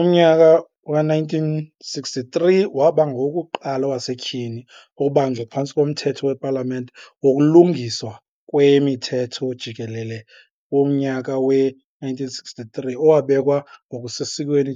umnyaka we-1963, waba ngowokuqala owasetyhini ukubanjwa phantsi koMthetho wePalamente Wokulungiswa Kwemithetho Jikelele womnyaka we-1963 owabekwa ngokusesikweni